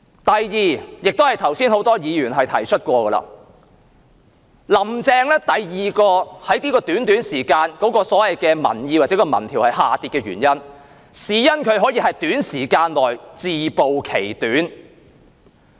第二，也是剛才很多議員曾提及的，就是在這段短短的時間內，"林鄭"第二個民意或民調支持度下跌的原因，可能是因為她在短時間內自暴其短。